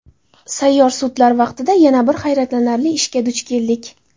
Sayyor sudlar vaqtida yana bir hayratlanarli ishga duch keldik.